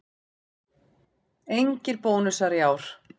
Engir bónusar í ár